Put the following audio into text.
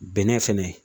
Bɛnɛ fɛnɛ